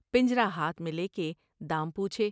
پنجرہ ہاتھ میں لے کے دام پوچھے ۔